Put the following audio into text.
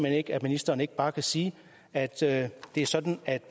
ikke at ministeren ikke bare kan sige at det er sådan